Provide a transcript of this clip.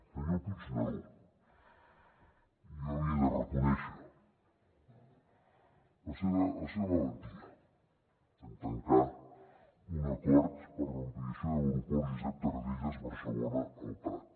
senyor puigneró jo li he de reconèixer la seva valentia en tancar un acord per a l’ampliació de l’aeroport josep tarradellas barcelona el prat